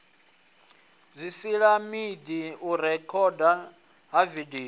zwisilaidi u rekhodwa ha vidio